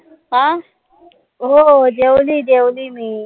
हा हो हो जेवली जेवली मी